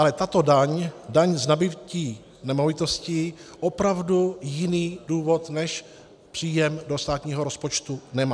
Ale tato daň, daň z nabytí nemovitostí, opravdu jiný důvod než příjem do státního rozpočtu nemá.